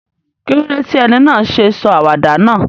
Kílódé ti eni náà sé sọ àwàdà náà?